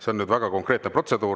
See on väga konkreetne protseduur.